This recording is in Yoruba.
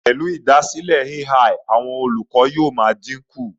Pẹlu kiikan ti AI, awọn olukọ yóò maa dinku